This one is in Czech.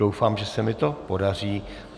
Doufám, že se mi to podaří.